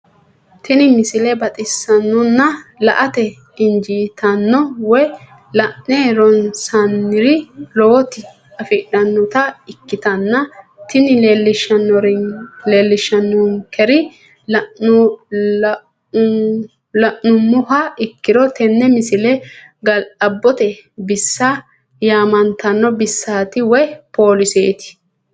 tenne misile baxisannonna la"ate injiitanno woy la'ne ronsannire lowote afidhinota ikkitanna tini leellishshannonkeri la'nummoha ikkiro tini misile ga'labbbote bissa yaamantanno bissaati woy poolisete.